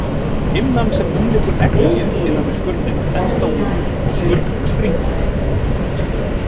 Himnan sem umlykur eggið innan við skurnina þenst þá út og skurnin springur.